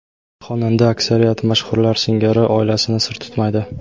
Xonanda aksariyat mashhurlar singari oilasini sir tutmaydi.